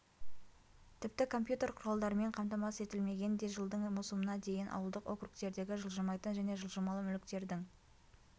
тіпті компьютер құралдарымен қамтамасыз етілмеген де жылдың маусымына дейін ауылдық округтердегі жылжымайтын және жылжымалы мүліктердің